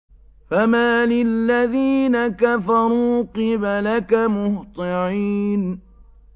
فَمَالِ الَّذِينَ كَفَرُوا قِبَلَكَ مُهْطِعِينَ